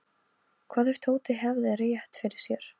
Hvað ef Tóti hefði rétt fyrir sér?